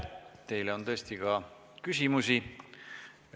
Teile on tõesti ka küsimusi.